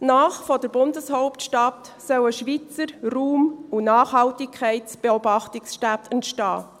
Nahe der Bundeshauptstadt sollen Schweizer Raum- und Nachhaltigkeitsbeobachtungsstätten entstehen.